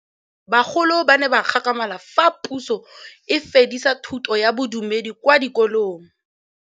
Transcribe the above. Bagolo ba ne ba gakgamala fa Pusô e fedisa thutô ya Bodumedi kwa dikolong.